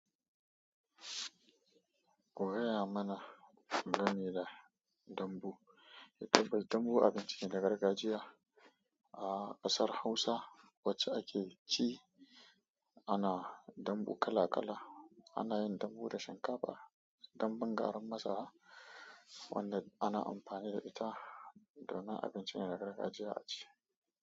Kugaya mana gameda gambu. Ya tabbas dambu abinci ne na gargajiya a ƙasar Hausa wacce ake ci. Ana dambu kala kala. Ana yin dambu da shinkafa, dambun garin masara wanda ana amfani da ita domin abincin na gargajiya a ci.